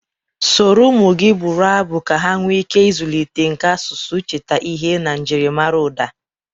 Soro ụmụ gị bụrụ abụ ka ha nwee ike ịzụlite nka asụsụ, icheta ihe na njiri mara ụda